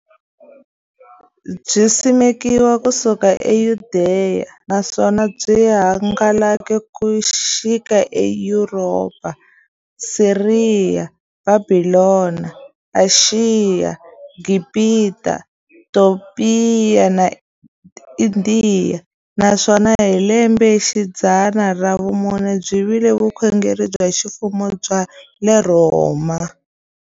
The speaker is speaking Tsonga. Byisimekiwe ku suka eYudeya, naswona byi hangalake ku xika eYuropa, Siriya, Bhabhilona, Ashiya, Gibhita, Topiya na Indiya, naswona hi lembexidzana ra vumune byi vile vukhongeri bya ximfumo bya le Rhoma.